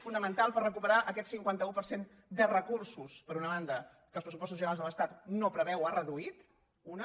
fonamental per recuperar aquest cinquanta un per cent de recursos per una banda que els pressupostos generals de l’estat no preveu o ha reduït una